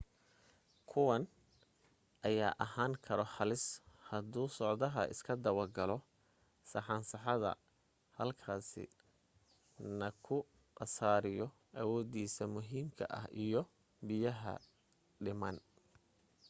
kuwan ayaa ahaan karo halis haduu socdaha iska dawa galo saxansaxada halkaasi na ku khasaariyo awoodiisa muhiimka ah iyo biyaha u dhiman